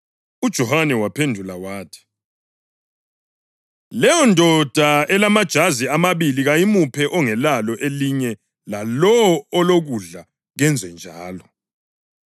UJohane waphendula wathi, “Leyondoda elamajazi amabili kayimuphe ongelalo elinye lalowo olokudla kenze njalo.”